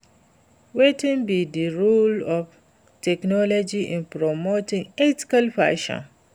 wetin be di role of technology in promoting ethical fashion?